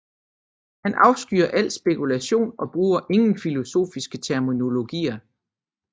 Han afskyer al spekulation og bruger ingen filosofiske terminologier